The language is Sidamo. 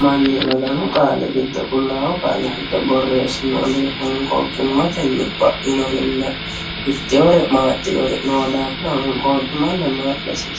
mannu maganu qaalli qulaawu giddo honqoqimate bainori ittinore naaxinore abbisiisano.